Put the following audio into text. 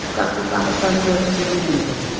kukah kukah ma panzo chu chibi ngan taiga.